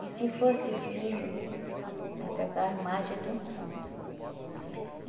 E se fosse filho, ela trocava a imagem de um santo.